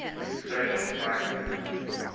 social sciences